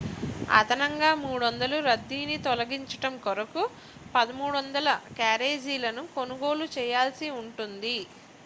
అదనంగా 300 రద్దీని తొలగించడం కొరకు 1,300 క్యారేజీలను కొనుగోలు చేయాల్సి ఉంటుంది